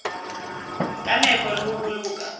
ka nepo le ho boloka